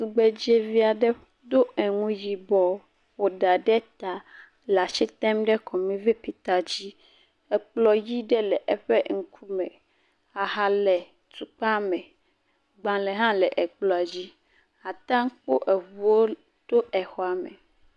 Tugbedzevi aɖe do eŋu yibɔ ƒo ɖa ɖe ta le asi tem ɖe kɔmipita dzi. Kplɔ̃ ʋi ɖe le eƒe ŋkume. Aha le tukpa me. Agbalẽ hã le kplɔ̃a dzi. Ate ŋu akpɔ ŋuwo to xɔa me.